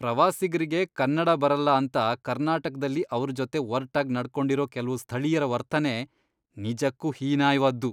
ಪ್ರವಾಸಿಗ್ರಿಗೆ ಕನ್ನಡ ಬರಲ್ಲ ಅಂತ ಕರ್ನಾಟಕ್ದಲ್ಲಿ ಅವ್ರ್ ಜೊತೆ ಒರ್ಟಾಗ್ ನಡ್ಕೊಂಡಿರೋ ಕೆಲ್ವು ಸ್ಥಳೀಯ್ರ ವರ್ತನೆ ನಿಜಕ್ಕೂ ಹೀನಾಯ್ವಾದ್ದು.